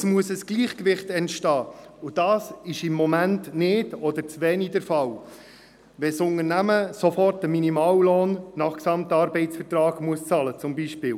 Es muss ein Gleichgewicht entstehen, und dies ist im Moment nicht oder zu wenig der Fall, weil das Unternehmen zum Beispiel sofort einen Minimallohn nach Gesamtarbeitsvertrag (GAV) bezahlen muss.